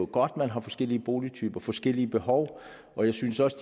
godt at man har forskellige boligtyper forskellige behov og jeg synes også